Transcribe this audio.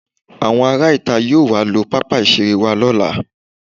Àwọn ará ìta yóò wá lo pápá ìṣeré wa lọ́la